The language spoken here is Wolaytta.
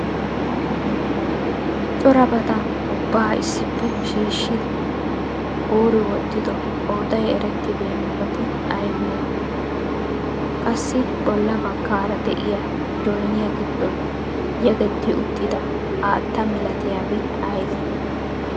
Corabata ubba issippe shiishshidi kuuri wottido qooday erettenaabati aybbe aybbe? Qasai bolla baggaara de'iya jooniya giddon yegetti uttida haatta malatiyabay aybbe?